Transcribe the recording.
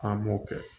An m'o kɛ